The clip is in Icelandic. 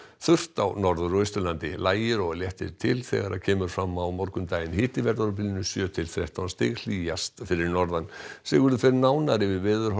þurrt á Norður og Austurlandi lægir og léttir til þegar kemur fram á morgundaginn hiti verður á bilinu sjö til þrettán stig hlýjast fyrir norðan Sigurður fer nánar yfir